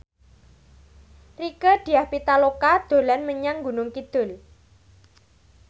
Rieke Diah Pitaloka dolan menyang Gunung Kidul